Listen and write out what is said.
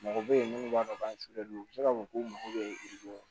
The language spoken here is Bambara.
Mɔgɔ bɛ yen minnu b'a fɔ k'an k'a fɔ k'u mago bɛ yiridenw